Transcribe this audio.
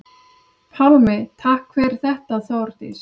Pálmi: Takk fyrir þetta Þórdís.